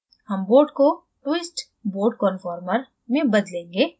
हम boat को twist boat conformer में बदलेंगे